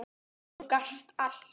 Þú gast allt.